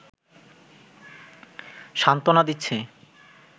সান্ত্বনা দিচ্ছে